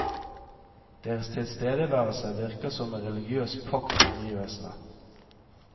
Deres tilstedeværelse virker som en religiøs pakt med omgivelsene.